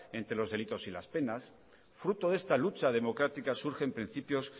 entre los delitos y las penas fruto de esta lucha democráticas surgen principios